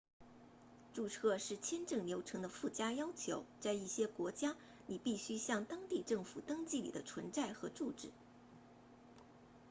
注册是签证流程的附加要求在一些国家你必须向当地政府登记你的存在和住址